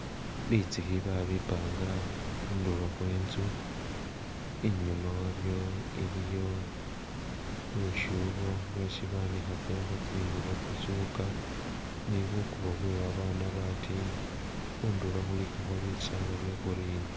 Bitsikhi babipanga khundulo khwe nzu, inyuma wabyo waliyo lusyubo lwesi banikhakilakho tsingubo , tsisuka, nibukubo bwe babana batini khundulo khulikakho bisala bye'green